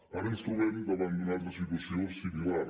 ara ens trobem davant d’una altra situació similar